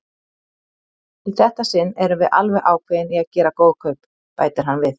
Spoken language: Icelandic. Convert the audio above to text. Í þetta sinn erum við alveg ákveðin í að gera góð kaup, bætir hann við.